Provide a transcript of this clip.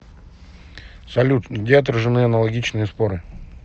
салют где отражены аналогичные споры